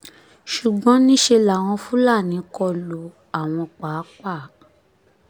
ṣùgbọ́n níṣẹ́ làwọn fúlàní kọ lu àwọn páàpáà